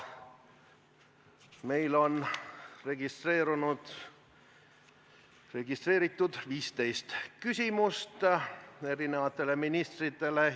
Meil on registreeritud 15 küsimust ministritele.